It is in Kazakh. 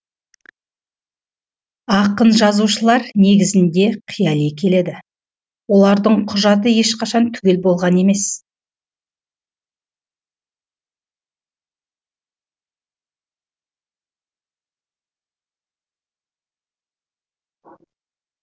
ақын жазушылар негізінде қияли келеді олардың құжаты ешқашан түгел болған емес